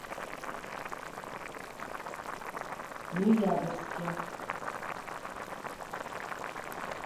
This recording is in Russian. ноябрьске